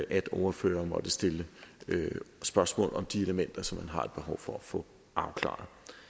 at ordførerne måtte stille spørgsmål om de elementer som man har et behov for at få afklaret